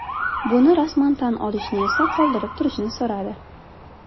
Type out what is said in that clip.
Buni rasman tan olishni esa qoldirib turishni so‘radi.